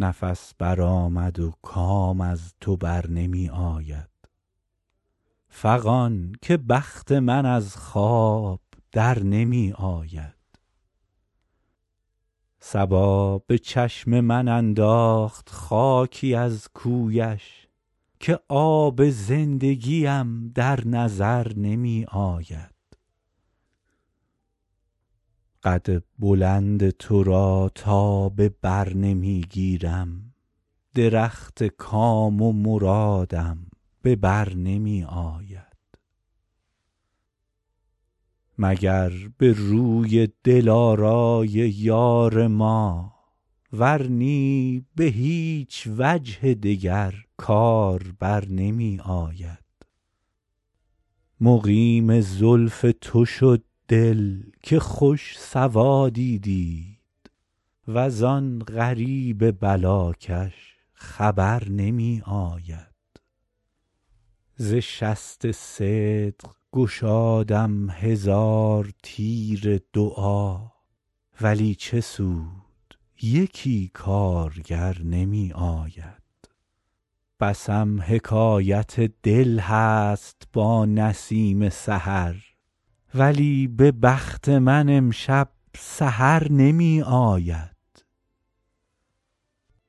نفس برآمد و کام از تو بر نمی آید فغان که بخت من از خواب در نمی آید صبا به چشم من انداخت خاکی از کویش که آب زندگیم در نظر نمی آید قد بلند تو را تا به بر نمی گیرم درخت کام و مرادم به بر نمی آید مگر به روی دلارای یار ما ور نی به هیچ وجه دگر کار بر نمی آید مقیم زلف تو شد دل که خوش سوادی دید وز آن غریب بلاکش خبر نمی آید ز شست صدق گشادم هزار تیر دعا ولی چه سود یکی کارگر نمی آید بسم حکایت دل هست با نسیم سحر ولی به بخت من امشب سحر نمی آید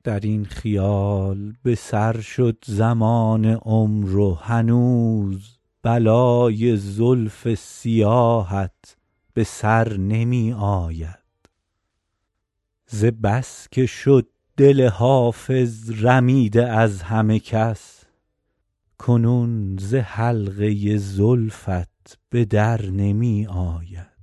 در این خیال به سر شد زمان عمر و هنوز بلای زلف سیاهت به سر نمی آید ز بس که شد دل حافظ رمیده از همه کس کنون ز حلقه زلفت به در نمی آید